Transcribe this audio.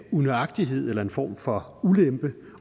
unøjagtighed eller en form for ulempe